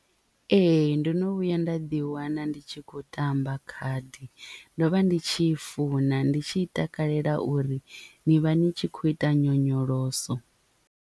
Ee ndono vhuya nda ḓi wana ndi tshi khou tamba khadi ndo vha ndi tshi i funa ndi tshi takalela uri ni vha ni tshi khou ita nyonyoloso.